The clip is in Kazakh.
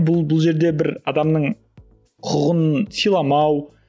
бұл бұл жерде бір адамның құқығын сыйламау